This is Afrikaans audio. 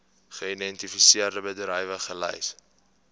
geïdentifiseerde bedrywe gelys